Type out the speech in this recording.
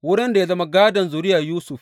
Wurin ya zama gādon zuriyar Yusuf.